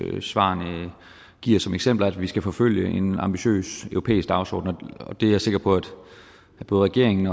høringssvarene giver som eksempler nemlig at vi skal forfølge en ambitiøs europæisk dagsorden og det er jeg sikker på at både regeringen